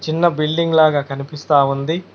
చిన్న బిల్డింగ్ ల కనిపిస్తా ఉంది.